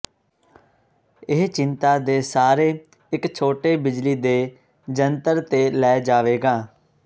ਇਹ ਚਿੰਤਾ ਦੇ ਸਾਰੇ ਇੱਕ ਛੋਟੇ ਬਿਜਲੀ ਦੇ ਜੰਤਰ ਤੇ ਲੈ ਜਾਵੇਗਾ